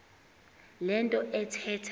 le nto athetha